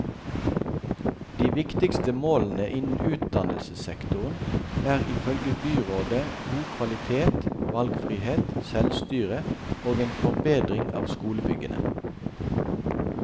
De viktigste målene innen utdannelsessektoren er, ifølge byrådet, god kvalitet, valgfrihet, selvstyre og en forbedring av skolebyggene.